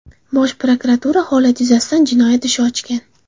Bosh prokuratura holat yuzasidan jinoyat ishi ochgan .